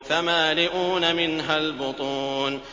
فَمَالِئُونَ مِنْهَا الْبُطُونَ